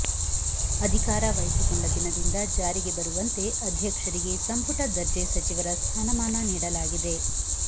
ಅಧಿಕಾರ ವಹಿಸಿಕೊಂಡ ದಿನದಿಂದ ಜಾರಿಗೆ ಬರುವಂತೆ ಅಧ್ಯಕ್ಷರಿಗೆ ಸಂಪುಟ ದರ್ಜೆ ಸಚಿವರ ಸ್ಥಾನಮಾನ ನೀಡಲಾಗಿದೆ